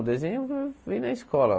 O desenho vem vem da escola.